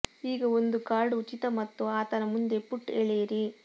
ಈಗ ಒಂದು ಕಾರ್ಡ್ ಉಚಿತ ಮತ್ತು ಆತನ ಮುಂದೆ ಪುಟ್ ಎಳೆಯಿರಿ